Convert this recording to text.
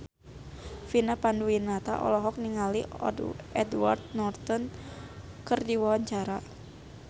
Vina Panduwinata olohok ningali Edward Norton keur diwawancara